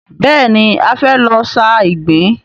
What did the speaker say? Bẹ́ẹ̀ni, a fẹ́ lọ sa ìgbín.